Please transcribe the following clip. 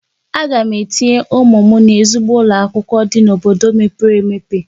Aga m etinye ụmụ m n'ezigbo ụlọ akwụkwọ dị n'obodo mepere emepe.